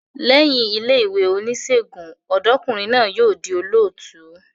Lẹ́yìn ilé ìwé onísègùn, ọ̀dọ́kùnrin náà yóò di olùtọ́jú